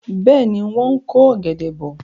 Bẹ́ẹ̀ni, wọ́n ń ko ọ̀gẹ̀dẹ̀ bọ̀.